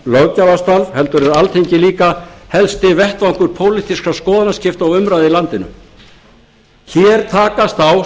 löggjafarstarf heldur er alþingi líka helsti vettvangur pólitískra skoðanaskipta og umræðu í landinu hér takast á